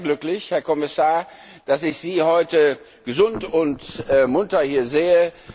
Ich bin sehr glücklich, Herr Kommissar, dass ich Sie heute gesund und munter hier sehe.